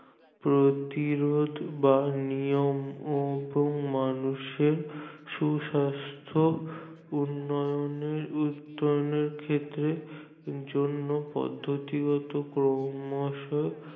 প্রতিরোধ বা নিয়ম এবং মানুষের সুস্বাস্থ্য উন্নয়নের ক্ষেত্রে জন্য পদ্ধতিগত পরামর্শের